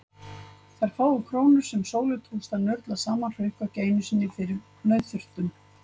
Þær fáu krónur sem Sólu tókst að nurla saman hrukku ekki einu sinni fyrir nauðþurftum.